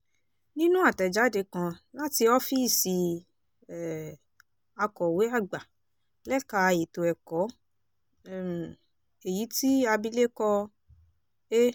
nínú àtẹ̀jáde kan láti ọ́fíìsì um akọ̀wé àgbà lẹ́ka ètò ẹ̀kọ́ um èyí tí abilékọ a